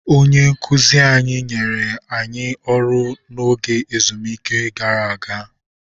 Onye nkụzi anyị nyere anyị ọrụ n'oge ezumike gara aga.